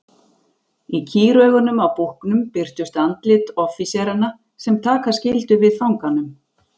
Í kýraugunum á búknum birtust andlit offíseranna sem taka skyldu við fanganum.